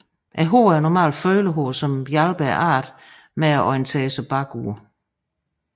Hårene er normalt følehår som hjælper arten med at orientere sig bagud